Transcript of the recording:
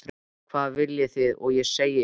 Hvað viljið þið að ég segi ykkur?